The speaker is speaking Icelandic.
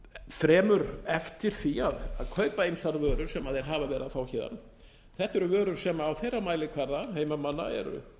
fremur eftir því að kaupa ýmsar vörur sem þeir hafa verið að fá héðan þetta eru vörur sem á þeirra mælikvarða heimamanna eru